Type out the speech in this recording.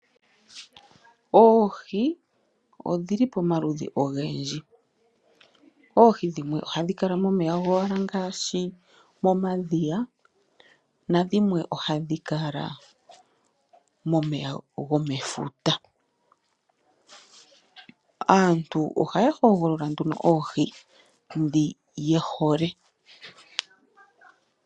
Oohi odhili pamaludhi ogendji. Oohi dhimwe ohadhi kala momeya gowala ngaashi momadhiya nadhimwe ohadhi kala momeya gomefuta. Aantu ohaya hogolola nduno oohi ndhi ye hole.